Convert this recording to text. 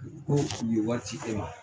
Ko u ye wari ci e ma